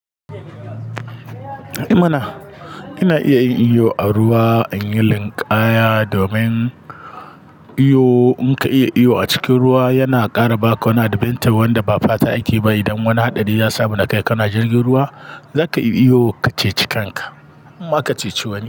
Ai mana, kana iya yin iyo a ruwa anyi linƙaya domin iyo in ka iya iyo a cikin ruwa yana ƙara ba ka wani adventure wanda ba fata ake ba. Idan wani hatsari ya samu na kai ka na jirgin ruwa, za ka iya iyo ka ceci kanka. Harma ka ceci wani.